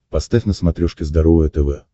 поставь на смотрешке здоровое тв